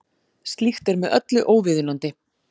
Slíkt er með öllu óviðunandi